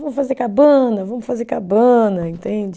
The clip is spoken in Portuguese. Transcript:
fazer cabana, vamos fazer cabana, entende?